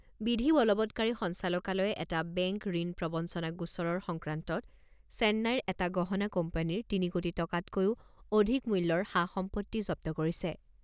বিধি বলৱৎকাৰী সঞ্চালকালয়ে এটা বেংক ঋণ প্ৰৱঞ্চনা গোচৰৰ সংক্ৰান্তত চেন্নাইৰ এটা গহণা কোম্পানীৰ তিনি কোটি টকাতকৈও অধিক মূল্যৰ সা সম্পত্তি জব্দ কৰিছে।